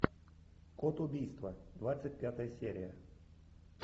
код убийства двадцать пятая серия